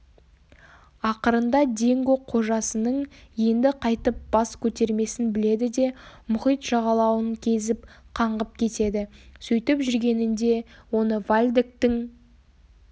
ақырында динго қожасының енді қайтып бас көтермесін біледі де мұхит жағалауын кезіп қаңғып кетеді сөйтіп жүргенінде оны вальдектің